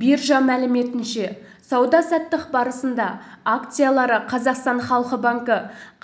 биржа мәліметінше сауда-саттық барысында акциялары қазақстан халық банкі